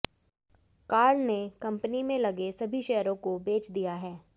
Karl ने company में लगे अपने सभी शेयरों को बेच दिया है